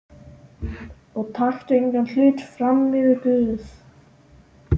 Og taktu engan hlut frammyfir Guð.